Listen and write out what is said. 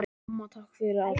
Amma, takk fyrir allt.